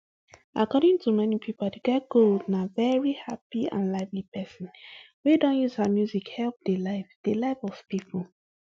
according to many pipo aduke gold na veri happy and lively pesin wey don use her music help di life di life of pipo